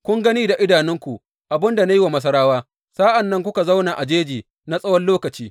Kun gani da idanunku abin da na yi wa Masarawa, sa’an nan kuka zauna a jeji na tsawon lokaci.